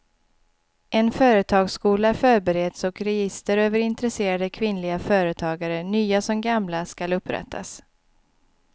En företagsskola förbereds och register över intresserade kvinnliga företagare nya som gamla skall upprättas.